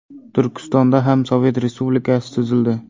Turkistonda ham sovet respublikasi tuzildi.